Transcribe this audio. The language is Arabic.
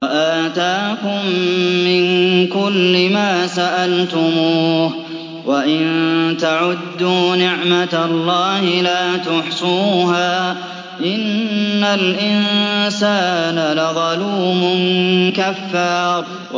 وَآتَاكُم مِّن كُلِّ مَا سَأَلْتُمُوهُ ۚ وَإِن تَعُدُّوا نِعْمَتَ اللَّهِ لَا تُحْصُوهَا ۗ إِنَّ الْإِنسَانَ لَظَلُومٌ كَفَّارٌ